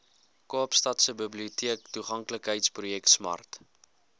kaapstadse biblioteektoeganklikheidsprojek smart